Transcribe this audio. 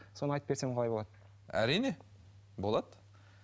соны айтып берсем қалай болады әрине болады